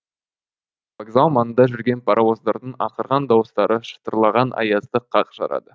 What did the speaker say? вокзал маңында жүрген паровоздардың ақырған дауыстары шытырлаған аязды қақ жарады